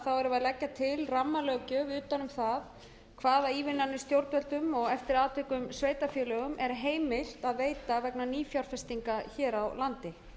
að leggja til rammalöggjöf utan um það hvaða ívilnanir stjórnvöldum og eftir atvikum sveitarfélögum er heimilt að veita vegna nýfjárfestinga hér á landi